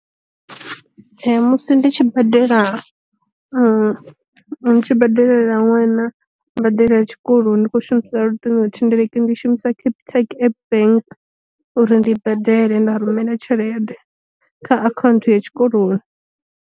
Musi ndi tshi badela ndi tshi badelela ṅwana mbadelo ya tshikoloni ndi kho shumisa luṱingo thendeleki ndi shumisa capitec app bank uri ndi badele, nda rumela tshelede kha akhaunthu ya tshikoloni.